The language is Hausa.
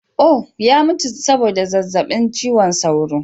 Oh! ya mutu saboda zazzabin cizon sauro.